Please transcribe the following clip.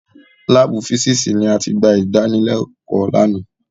Láàbù físìsì ni a ti gba ìdánilẹ́kọ̀ọ́ lánàá.